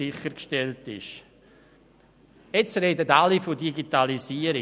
Gegenwärtig sprechen alle von Digitalisierung.